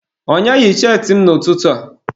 Onye yi cheetị m n'ụtụtụ a?